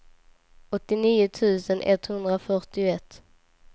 åttionio tusen etthundrafyrtioett